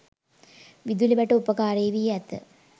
විදුලි වැට උපාකාරී වී ඇත.